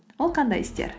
ол қандай істер